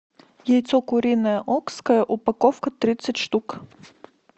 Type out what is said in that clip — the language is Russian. яйцо куриное окское упаковка тридцать штук